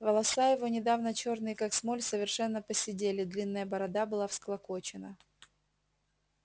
волоса его недавно чёрные как смоль совершенно поседели длинная борода была всклокочена